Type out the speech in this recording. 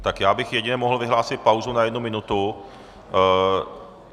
Tak já bych jedině mohl vyhlásit pauzu na jednu minutu.